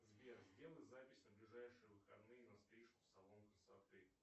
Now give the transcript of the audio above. сбер сделай запись на ближайшие выходные на стрижку в салон красоты